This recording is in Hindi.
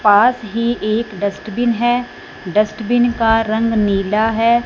पास ही एक डस्टबिन है डस्टबिन का रंग नीला है।